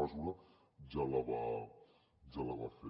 mesura ja la va fer